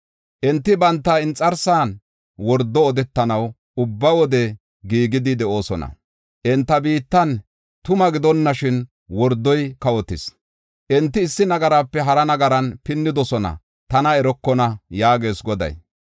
“Enti banta inxarsan wordo odetanaw ubba wode giigidi de7oosona. Enta biittan tuma gidonashin wordoy kawotis. Enti issi nagarape hara nagaran pinnidosona; tana erokona” yaagees Goday.